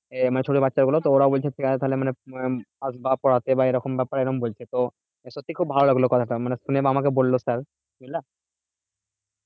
আহ মানে ছোট বাচ্চা গুলো তো ওরাও বলছে ঠিক আছে তাহলে মানে আহ আসবে পড়াতে বা এরকম ব্যাপার এরকম বলছে তো সত্যি খুব ভালো লাগলো কথাটা মানে শুনে বা আমাকে বললো sir বুঝলে